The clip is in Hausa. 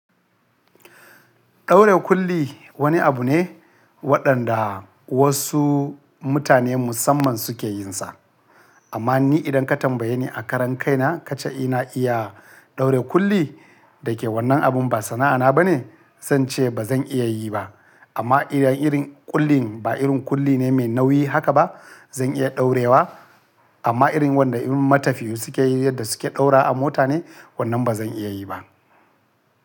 Ɗaure kulli wani abu ne waɗanda wasu mutane musamman suke yin sa. Amma ni idan ka tambaye ni a karan kaina ka ce ina iya ɗaure kulli da ke wannan abin ba sana'ana bane, zan ce ba zan iya yi ba. Amma idan irin kullin ba irin kulli ne mai nauyi haka ba, zan iya ɗaurewa. Amma irin wanda irin matafiyu suke yi yadda suke ɗaura a mota ne, wannan ba zan iya yi ba.